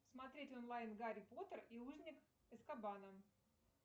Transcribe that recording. смотреть онлайн гарри поттер и узник азкабана